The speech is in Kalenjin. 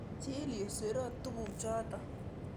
Chill youu siroo tug'uk chotok